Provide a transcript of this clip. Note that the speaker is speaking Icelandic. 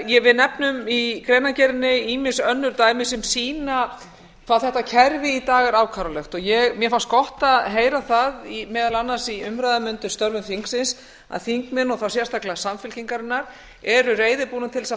við nefnum í greinargerðinni ýmis önnur dæmi sem sýna hvað þetta kerfi í dag er afkáralegt mér fannst gott að heyra það meðal annars í umræðum undir störfum þingsins að þingmenn og þá sérstaklega samfylkingarinnar eru reiðubúnir til þess að